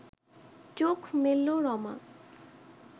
চোখ মেলল রমা